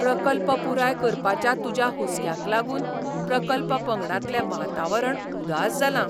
प्रकल्प पुराय करपाच्या तुज्या हुसक्याक लागून प्रकल्प पंगडातलें वातावरण उदास जालां.